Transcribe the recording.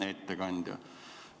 Hea ettekandja!